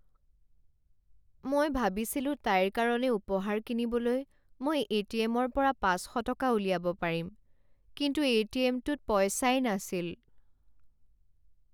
মই ভাবিছিলো তাইৰ কাৰণে উপহাৰ কিনিবলৈ মই এ টি এম ৰ পৰা পাঁচ শ টকা উলিয়াব পাৰিম কিন্তু এ টি এম টোত পইচাই নাছিল।